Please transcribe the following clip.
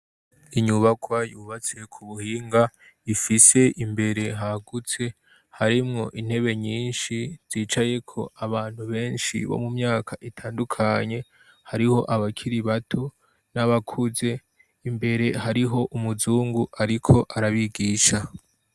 Inyubakwa yubatse ku buhinga ifise imbere hagutse harimwo intebe nyinshi zicaye ko abantu benshi bo mu myaka itandukanye hariho abakiri bato n'abakuze, imbere hariho umuzungu ariko arabigisha.